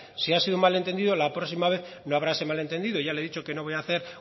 si ha sido un malentendido la próxima vez no habrá ese malentendido ya le he dicho que no voy hacer